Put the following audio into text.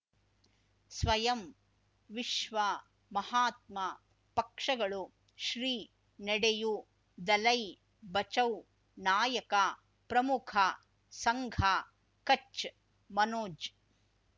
ಸ್ವಯಂ ವಿಶ್ವ ಮಹಾತ್ಮ ಪಕ್ಷಗಳು ಶ್ರೀ ನಡೆಯೂ ದಲೈ ಬಚೌ ನಾಯಕ ಪ್ರಮುಖ ಸಂಘ ಕಚ್ ಮನೋಜ್